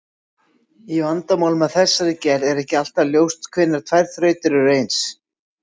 Í vandamálum af þessari gerð er ekki alltaf ljóst hvenær tvær þrautir eru eins.